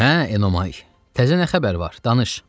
Hə Enomay, təzə nə xəbər var, danış.